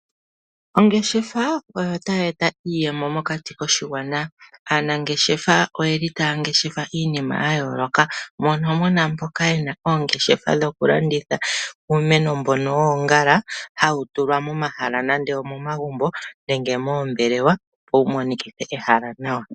Ongeshefa oyo tayi eta iiyemo mokati koshigwana. Aanangeshefa otaya ngeshefa iinima ya yooloka, moka mu na mboka ye na oongeshefa dhokulanditha uumeno mbono woongala hawu tulwa momahala nenge omomagumbo nenge moombelewa, opo wu monikithe ehala nawa.